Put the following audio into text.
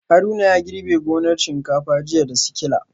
Haruna ya girbe gonar shinkafa jiya da sikila